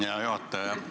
Hea juhataja!